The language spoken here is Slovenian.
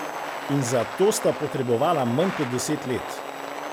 In za to sta potrebovala manj kot deset let!